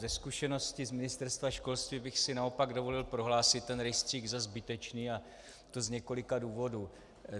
Ze zkušenosti z Ministerstva školství bych si naopak dovolil prohlásit ten rejstřík za zbytečný, a to z několika důvodů.